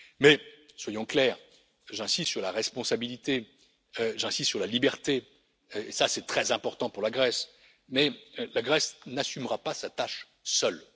Mais, soyons clairs, j'insiste sur la responsabilité, j'insiste sur la liberté et c'est très important pour la Grèce mais la Grèce n'assumera pas sa tâche seule.